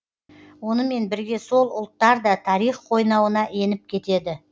онымен бірге сол ұлттар да тарих қойнауына еніп кетеді